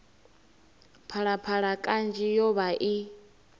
phalaphala kanzhi yo vha i